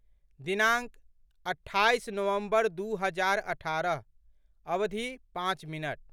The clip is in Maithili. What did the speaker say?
दिनाङ्क, अट्ठाइस नवम्बर दू हजार अठारह, अवधि, पाँच मिनट